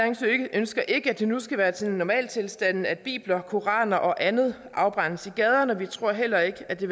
ønsker ikke at det nu skal være sådan normaltilstanden at bibler koraner og andet afbrændes i gaderne og vi tror heller ikke at det